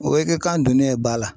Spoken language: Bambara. O be kɛ kan donnen ye ba la.